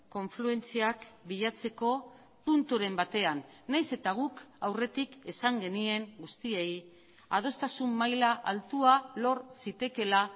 konfluentziak bilatzeko punturen batean nahiz eta guk aurretik esan genien guztiei adostasun maila altua lor zitekeela